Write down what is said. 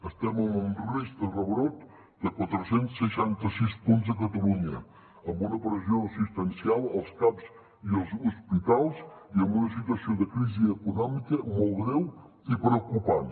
estem en un risc de rebrot de quatre cents i seixanta sis punts a catalunya amb una pressió assistencial als caps i als hospitals i amb una situació de crisi econòmica molt greu i preocupant